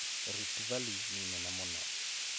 Rift Valley nĩ nene mũno.